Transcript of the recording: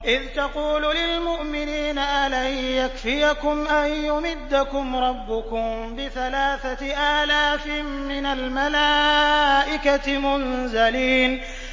إِذْ تَقُولُ لِلْمُؤْمِنِينَ أَلَن يَكْفِيَكُمْ أَن يُمِدَّكُمْ رَبُّكُم بِثَلَاثَةِ آلَافٍ مِّنَ الْمَلَائِكَةِ مُنزَلِينَ